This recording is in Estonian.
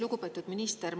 Lugupeetud minister!